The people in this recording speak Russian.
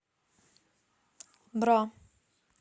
бра